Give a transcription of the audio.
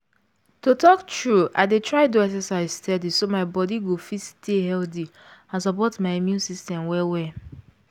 to talk true i dey try do exercise steady so my body go fit stay healthy and support my immune system well well